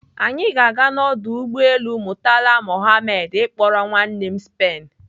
Anyị ga-aga na ọdụ ụgbọelu Murtala Muhammed ịkpọrọ nwanne m Spain.